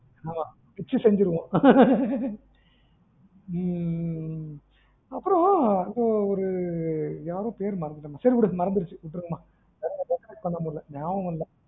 ஆமா வச்சி செஞ்சிருவோம் ம்ம் அப்பறம் இந்த ஒரு யாரோ பேரு மறந்துட்டேன் மா சரி விடுமறந்துருச்சு விட்டுருங்க மா recollect பண்ண முடில நியாபகம் இல்ல